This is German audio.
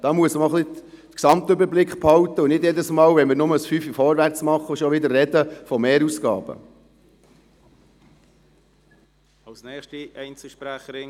Da muss man auch ein wenig den Gesamtüberblick behalten und nicht jedes Mal, wenn wir bloss einen Fünfer vorwärts machen, schon wieder von Mehrausgaben sprechen.